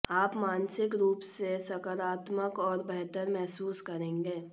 आप मानसिक रूप से सकारात्मक और बेहतर महसूस करेंगे